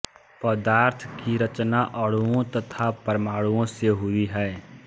पदार्थ की रचना अणुओं तथा परमाणुओं से हुई है